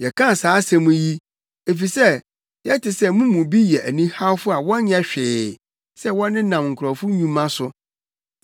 Yɛka saa asɛm yi, efisɛ yɛte sɛ mo mu bi yɛ anihawfo a wɔnyɛ hwee sɛ wɔnenam nkurɔfo nnwuma so.